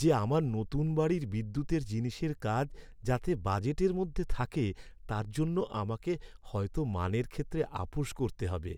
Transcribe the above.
যে, আমার নতুন বাড়ির বিদ্যুতের জিনিসের কাজ যাতে বাজেটের মধ্যে থাকে তার জন্য আমাকে হয়তো মানের ক্ষেত্রে আপস করতে হবে।